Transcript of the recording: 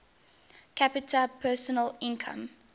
capita personal income